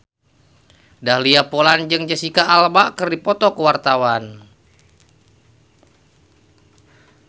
Dahlia Poland jeung Jesicca Alba keur dipoto ku wartawan